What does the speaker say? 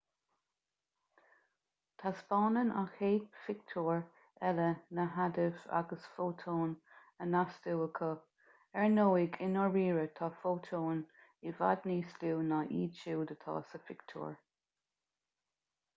taispeánann an chéad phictiúr eile na hadaimh agus fótóin á n-astú acu ar ndóigh i ndáiríre tá fótóin i bhfad níos lú ná iad siúd atá sa phictiúr